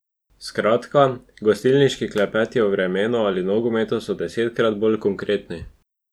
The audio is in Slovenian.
Skratka, gostilniški klepeti o vremenu ali nogometu so desetkrat bolj konkretni.